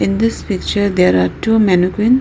in this picture there are two mannequins.